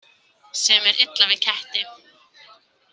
Sem er illa við ketti.